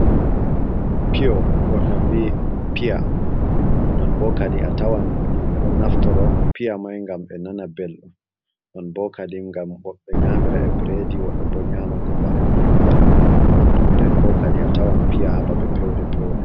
Pio woɓen bi piya non bo kadi a tawan yimɓe ɗon naftoro piya mai gam ɓe nana belɗum non bo kadin gam woɓɓe nyamira e bredi woɓɓe bo nyama ko bana ni on tan, ton den bo kadi a tawan piya hababe pewde pewde.